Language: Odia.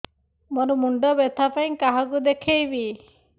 ମୋର ମୁଣ୍ଡ ବ୍ୟଥା ପାଇଁ କାହାକୁ ଦେଖେଇବି